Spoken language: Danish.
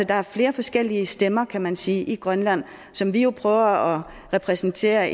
der er flere forskellige stemmer kan man sige i grønland som vi jo prøver at repræsentere